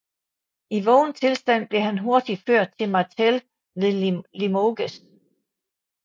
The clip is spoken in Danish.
I vågen tilstand blev han hurtigt ført til Martel ved Limoges